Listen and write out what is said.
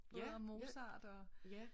Både om Mozart og